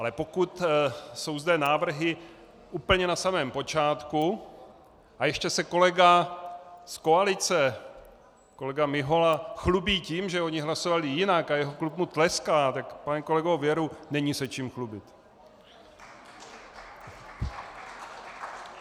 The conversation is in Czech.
Ale pokud jsou zde návrhy úplně na samém počátku a ještě se kolega z koalice, kolega Mihola, chlubí tím, že oni hlasovali jinak, a jeho klub mu tleská, tak pane kolego, věru není se čím chlubit!